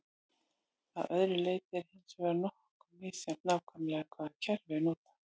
að öðru leyti er hins vegar nokkuð misjafnt nákvæmlega hvaða kerfi er notað